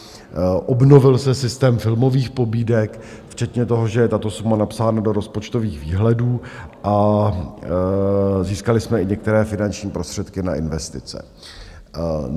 Obnovil se systém filmových pobídek včetně toho, že je tato suma napsána do rozpočtových výhledů, a získali jsme i některé finanční prostředky na investice.